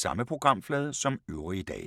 Samme programflade som øvrige dage